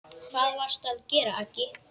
Hvað varstu að gera, Aggi.